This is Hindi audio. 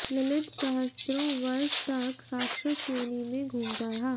ललित सहस्त्रों वर्ष तक राक्षस योनि में घूमता रहा